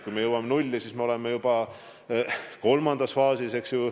Kui me jõuame nulli, siis me oleme juba kolmandas faasis.